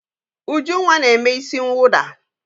Ujunwa na-eme isi mwụda.